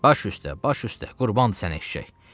Baş üstə, baş üstə, qurban eşşək.